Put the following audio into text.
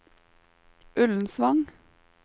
Ullensvang